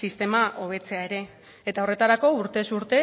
sistema hobetzea ere eta horretarako urtez urte